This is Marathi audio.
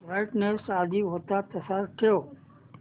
ब्राईटनेस आधी होता तसाच ठेव